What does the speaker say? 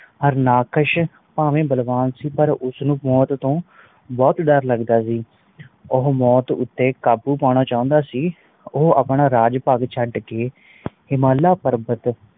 ਹਰਨਾਕਸ਼ ਭਾਵੇ ਬਲਵਾਨ ਸੀ ਪਾਰ ਉਸ ਨੂੰ ਮੌਤ ਤੋਂ ਬਹੁਤ ਡਰ ਲੱਗਦਾ ਸੀ ਓ ਮੌਟ ਉਤੇ ਕਾਬੂ ਪੌਣਾ ਚੌਂਦਾ ਸੀ ਓ ਆਪਣਾ ਰਾਜ ਭਾਗ ਛੱਡ ਕ ਹਿਮਾਲਾ ਪ੍ਰਵਤ